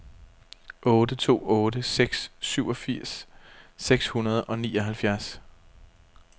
otte to otte seks syvogfirs seks hundrede og nioghalvfjerds